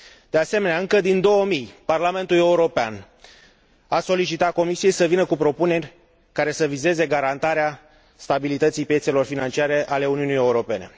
De asemenea, încă din 2000, Parlamentul European a solicitat Comisiei să vină cu propuneri care să vizeze garantarea stabilității piețelor financiare ale Uniunii Europene.